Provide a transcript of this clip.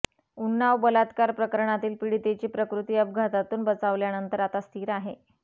उन्नाव बलात्कार प्रकरणातील पीडितेची प्रकृती अपघातातून बचावल्यानंतर आता स्थिर आहे